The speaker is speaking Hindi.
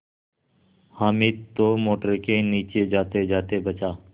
हामिद तो मोटर के नीचे जातेजाते बचा